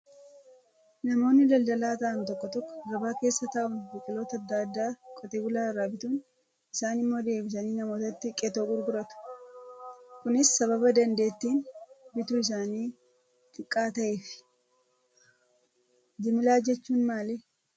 Namoonni daldalaa ta'an tokko tokko gabaa keessa taa'uun biqiloota adda addaa qote bulaa irraa bituun isaan immoo deebisanii namootatti qexoo gurguratu. Kunis sababa dandeettiin bituu isaanii xiqqaa ta'eefi. Jimlaa jechuun maali?